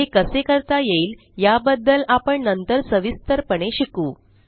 हे कसे करता येईल या बदद्ल आपण नंतर सविस्तर पणे शिकू